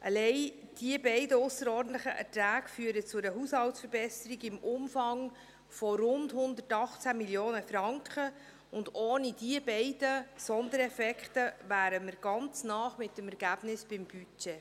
Diese beiden ausserordentlichen Erträge führen allein zu einer Haushaltsverbesserung im Umfang von rund 118 Mio. Franken, und ohne diese beiden Sondereffekte wären wir mit dem Ergebnis ganz nah am Budget.